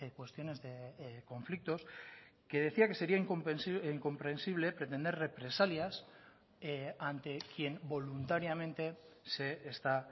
cuestiones de conflictos que decía que sería incomprensible pretender represalias ante quien voluntariamente se está